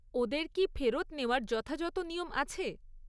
ওদের কি ফেরত নেওয়ার যথাযথ নিয়ম আছে?